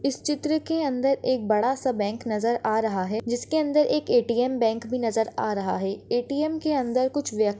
इस चित्र के अंदर बड़ा सा बैंक नजर आ रहा है जिस के अंदर एक एटीएम बैंक भी नजर आ रहा है एटीएम के अंदर कुछ व्यक्ती --